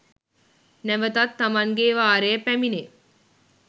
නැවතත් තමන්ගේ වාරය පැමිණේ.